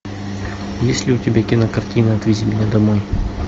есть ли у тебя кинокартина отвези меня домой